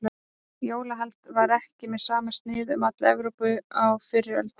Jólahald var ekki með sama sniði um alla Evrópu á fyrri öldum.